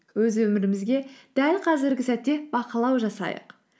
өз өмірімізге дәл қазіргі сәтте бақылау жасайық